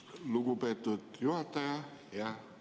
Lugupeetud juhataja!